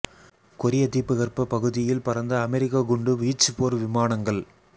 கொரிய தீபகற்ப பகுதியில் பறந்த அமெரிக்க குண்டு வீச்சு போர் விமானங்கள்